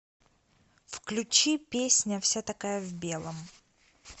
включи песня вся такая в белом